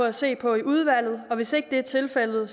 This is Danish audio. at se på i udvalget og hvis ikke det er tilfældet er